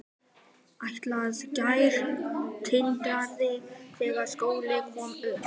Hélað gras tindraði þegar sólin kom upp.